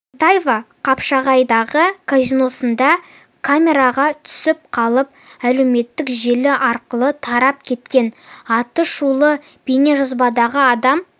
есентаева қапшағайдағы казиносында камераға түсіп қалып әлеуметтік желі арқылы тарап кеткен аты шулы бейнежазбадағы адам